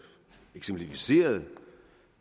eksemplificeret